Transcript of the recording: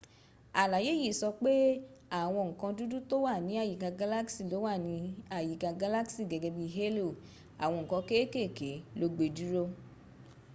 àlàyé yìí sọ pé àwọn ǹkan dúdú tó wà ní àyíkà galaxy ló wà ní àyíká galaxy gẹ́gẹ́ bí halo àwọn ǹkan kékèké ló gbedúró